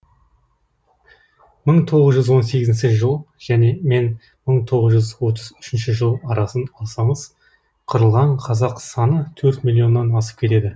мың тоғыз жүз он сегізінші жыл мен мың тоғыз жүз отыз үшінші жыл арасын алсаңыз қырылған қазақ саны төрт миллионнан асып кетеді